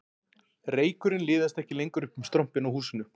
Reykurinn liðast ekki lengur upp um strompinn á húsinu